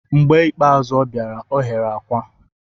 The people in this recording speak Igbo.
Mgbe ikpeazụ ọ bịara, ọ ghere akwa.